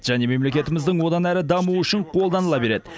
және мемлекетіміздің одан әрі дамуы үшін қолданыла береді